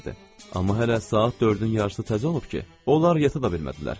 Amma hələ saat dördün yarısı təzə olub ki, onlar yata da bilmədilər.